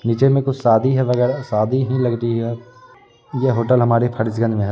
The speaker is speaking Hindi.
नीचे में कुछ सादी है वगैरा सादी ही लग रही है यह होटल हमारे फर्जगंज में है।